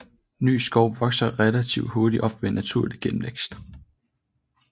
Ny skov vokser relativt hurtigt op ved naturlig genvækst